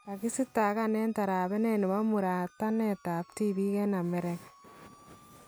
Kakistaakan en tarabenet nebo muratanetab tibiik en Amerika